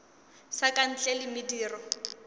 sa ka ntle le mediro